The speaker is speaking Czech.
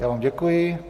Já vám děkuji.